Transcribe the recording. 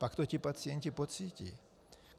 Pak to ti pacienti pocítí.